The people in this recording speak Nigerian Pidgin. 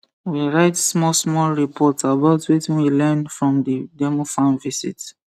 we write smallsmall report about wetin we learn from the demo farm visit